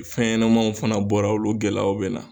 Fɛn ɲɛnamaw fana bɔra olu gɛlɛyaw bɛ na.